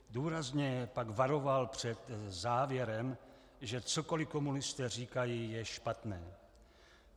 Důrazně pak varoval před závěrem, že cokoli komunisté říkají, je špatné.